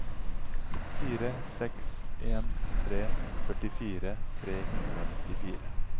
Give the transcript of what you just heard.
fire seks en tre førtifire tre hundre og nittifire